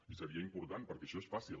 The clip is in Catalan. i seria important perquè això és fàcil